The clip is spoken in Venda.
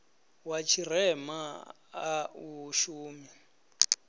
wa tshirema a u shumi